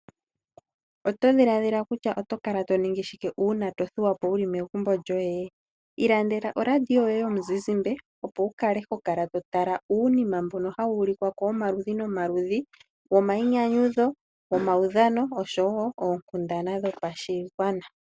Oto dhiladhila kutya oto kala to ningi shike uuna to thuwa po wu li megumbo lyoye? Ilandela oradio yoye yomuzizimba opo wu kale ho kala to tala uunima mbono hawu ulikwa ko womaludhi nomaludhi womainyanyudho, womaudhano osho wo oonkundana dhopashigwana.